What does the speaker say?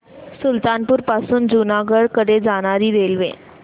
सुल्तानपुर पासून जुनागढ कडे जाणारी रेल्वे